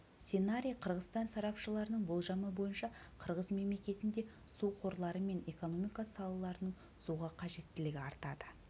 сценарий қырғызстан сарапшыларының болжамы бойынша қырғыз мемелекетінде су қорлары мен экономика салаларының суға қажеттілігі артады